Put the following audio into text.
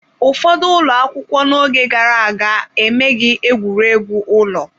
Ụfọdụ ụlọ akwụkwọ n'oge gara aga emeghị egwuregwu ụlọ.